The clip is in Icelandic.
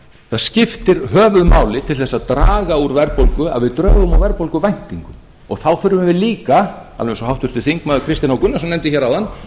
það skiptir höfuðmáli til þess að draga úr verðbólgu að við drögum úr verðbólguvæntingum þá þurfum við líka alveg eins og háttvirtur þingmaður kristinn h gunnarsson nefndi hér áðan að við